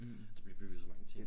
Mh der bliver bygget så mange ting